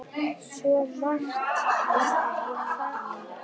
Svo margt er að þakka.